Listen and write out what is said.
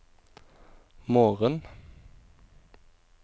morgen